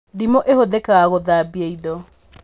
Ndimũ ĩhũthĩkaga gũthambia indo